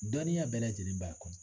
Dɔnniya bɛɛ lajɛlen b'a kɔnɔ.